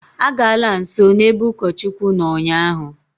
Agala nsọ n'ebe ụkọchukwu nọ ụnyaahụ!